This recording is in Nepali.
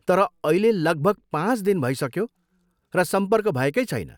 तर अहिले लगभग पाँच दिन भइसक्यो र सम्पर्क भएकै छैन।